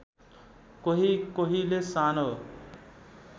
कोही कोहीले सानो